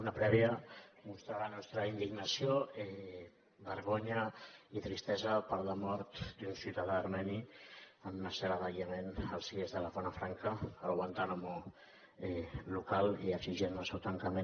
una prèvia mostrar la nostra indignació vergonya i tristesa per la mort d’un ciutadà armeni en una cel·la d’aïllament al cie de la zona franca el guantánamo local i exigir ne el tancament